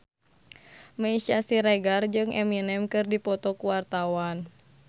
Meisya Siregar jeung Eminem keur dipoto ku wartawan